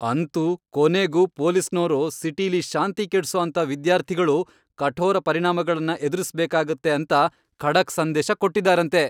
ಅಂತೂ ಕೊನೆಗೂ ಪೊಲೀಸ್ನೋರು ಸಿಟಿಲಿ ಶಾಂತಿ ಕೆಡ್ಸೋಅಂಥ ವಿದ್ಯಾರ್ಥಿಗಳು ಕಠೋರ ಪರಿಣಾಮಗಳ್ನ ಎದುರಿಸ್ಬೇಕಾಗತ್ತೆ ಅಂತ ಖಡಕ್ ಸಂದೇಶ ಕೊಟ್ಟಿದಾರಂತೆ.